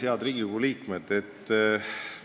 Head Riigikogu liikmed!